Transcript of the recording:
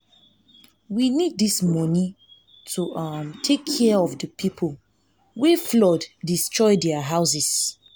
we need dis money to um take care of the people wey flood destroy their houses